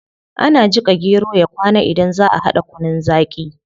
Ana jika gero ya kwana idan zaa a hada kunun zaqi